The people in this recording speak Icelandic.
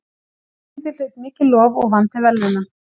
Leikritið hlaut mikið lof og vann til verðlauna.